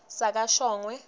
sakashongwe